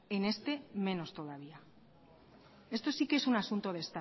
en este menos todavía esto sí que es un asunto de